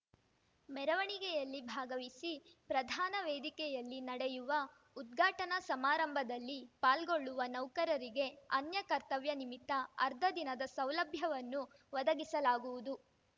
ಮೆರವಣಿಗೆಯಲ್ಲಿ ಭಾಗವಹಿಸಿ ಪ್ರಧಾನ ವೇದಿಕೆಯಲ್ಲಿ ನಡೆಯುವ ಉದ್ಘಾಟನಾ ಸಮಾರಂಭದಲ್ಲಿ ಪಾಲ್ಗೊಳ್ಳುವ ನೌಕರರಿಗೆ ಅನ್ಯ ಕರ್ತವ್ಯ ನಿಮಿತ್ತ ಅರ್ಧ ದಿನದ ಸೌಲಭ್ಯವನ್ನು ಒದಗಿಸಲಾಗುವುದು